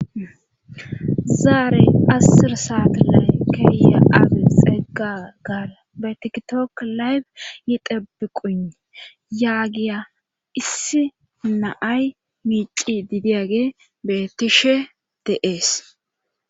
Zaarey assirsaat lay keeya age xeggagara betiktook layb yidebbi quni yaagiya issi naay miici didiyage betishe deees.